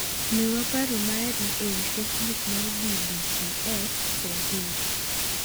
Miwa paro mari ewi Facebook mar BBCSswahili.